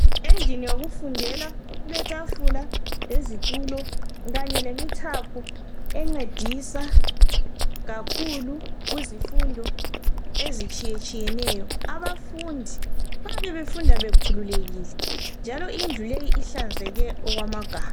Endlini yokufundela kuletafula lezitulo kanye lemithaphu encedisa kakhulu kuzifundo ezitshiyetshiyeneyo. Abafundi bayabe befunda bekhululekile njalo indlu leyi ihlanzeke okwamagama.